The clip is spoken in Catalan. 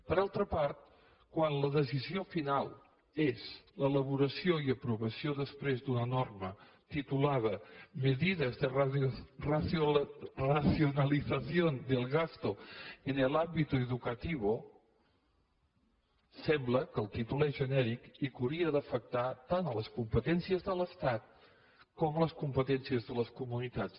per altra part quan la decisió final és l’elaboració i aprovació després d’una norma titulada medidas de racionalización del gasto en el ámbito educativo sembla que el títol és genèric i que hauria d’afectar tant les competències de l’estat com les competències de les comunitats